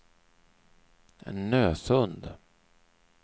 Nösund